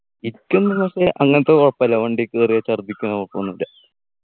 എക്കൊന്നും പ്രശ്‌നല്ല അങ്ങനത്തെ കുഴപ്പുല്ല വണ്ടി കേറിയാൽ ഛർദിക്കുന്ന കൊഴപ്പൊന്നു ഇല്ല